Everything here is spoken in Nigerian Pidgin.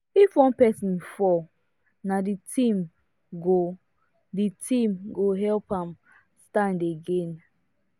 if one person fall na the team go the team go help am stand again